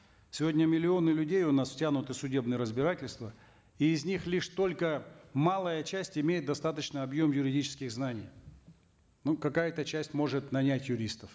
сегодня миллионы людей у нас втянуты в судебные разбирательства и из них лишь только малая часть имеет достаточный объем юридических знаний ну какая то часть может нанять юристов